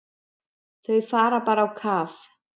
Þau fara bara á kaf.